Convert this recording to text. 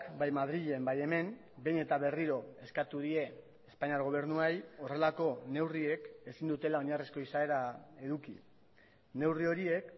bai madrilen bai hemen behin eta berriro eskatu die espainiar gobernuei horrelako neurriek ezin dutela oinarrizko izaera eduki neurri horiek